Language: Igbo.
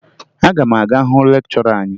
Aga m aga hụ lekchọra anyị